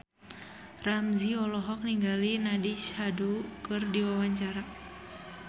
Ramzy olohok ningali Nandish Sandhu keur diwawancara